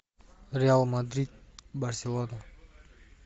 реал мадрид барселона